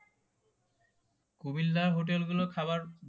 কুমিল্লার হোটেল গুলো খাবার